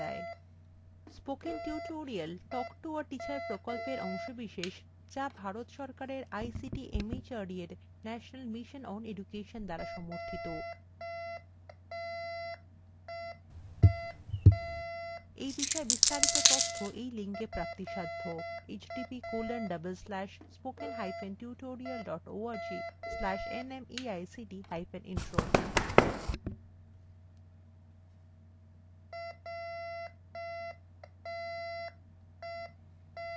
spoken tutorial talk to a teacher প্রকল্পের অংশবিশেষ যা ভারত সরকারের ict mhrd এর national mission on education দ্বারা সমর্থিত এই বিষয়ে বিস্তারিত তথ্য এই লিঙ্কএ প্রাপ্তিসাধ্য আমি অন্তরা এই টিউটোরিয়ালটি অনুবাদ এবং রেকর্ড করেছি শুভবিদায়